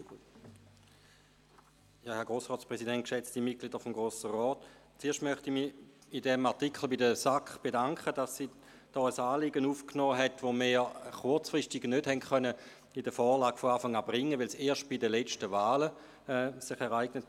Zuerst möchte ich mich bei diesem Artikel bei der SAK bedanken, dass sie ein Anliegen aufgenommen hat, das wir kurzfristig nicht im Rahmen der Vorlage bringen konnten, weil es erst bei den letzten Wahlen aufkam.